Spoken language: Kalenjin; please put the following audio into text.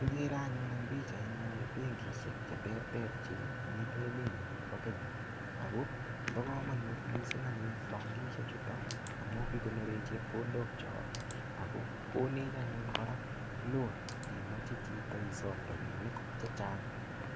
Kikere anyun en pichaini benkishek cheterter chemiten emenyon nebo Kenya ak ko bokomonut mising anyun bankishe chuton amun kikonoren chepkondokiok ak ko konech anyun kora loan imoche chito isom chito rabinik chechang.